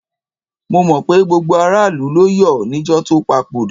Mo mọ̀ pé gbogbo aráàlú ló yọ̀ níjọ́ tó papòdà.